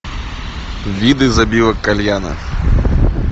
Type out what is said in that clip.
виды забивок кальяна